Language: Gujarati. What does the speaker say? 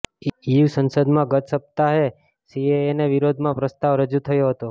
ઇયૂ સંસદમાં ગત સપ્તાહે સીએએના વિરોધમાં પ્રસ્તાવ રજૂ થયો હતો